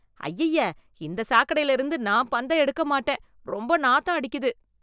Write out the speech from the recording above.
அய்யய்ய! இந்த சாக்கடைல இருந்து நான் பந்த எடுக்க மாட்டேன். ரொம்ப நாத்தம் அடிக்குது